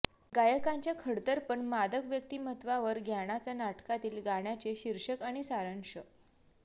गायकांच्या खडतर पण मादक व्यक्तिमत्त्वावर ज्ञानाच्या नाटकातील गाण्याचे शीर्षक आणि सारांश